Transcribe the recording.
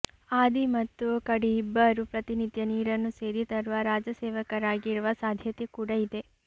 ಆದಿ ಮತ್ತು ಕಡಿ ಇಬ್ಬರೂ ಪ್ರತಿನಿತ್ಯ ನೀರನ್ನು ಸೇದಿ ತರುವ ರಾಜ ಸೇವಕರಾಗಿರುವ ಸಾಧ್ಯತೆ ಕೂಡ ಇದೆ